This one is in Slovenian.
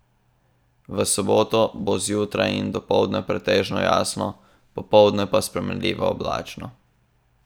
V soboto bo zjutraj in dopoldne pretežno jasno, popoldne pa spremenljivo oblačno.